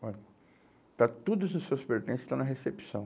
Olha, está tudo dos seus pertences, está na recepção.